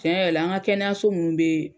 Tiɲɛ yɛrɛ la an ŋa kɛnɛyaso mun be